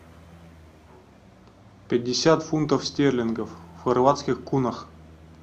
пятьдесят фунтов стерлингов в хорватских кунах